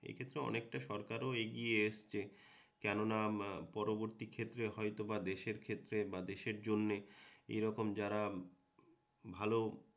এক্ষেত্রে অনেকটা সরকারও এগিয়ে এসছে, কেননা পরবর্তী ক্ষেত্রে হয়তোবা দেশের ক্ষেত্রে বা দেশের জন্যে এরকম যারা ভালো